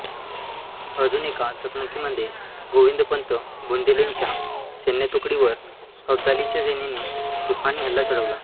अजून एका चकमकीमध्ये गोविंदपंत बुंदेलेंच्या सैन्यतुकडीवर अब्दालीच्या सेनेने तुफानी हल्ला चढवला